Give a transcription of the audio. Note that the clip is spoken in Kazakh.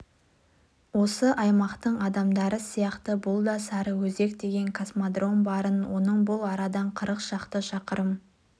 осы аймақтың адамдары сияқты бұл да сарыөзек деген космодром барын оның бұл арадан қырық шақты шақырым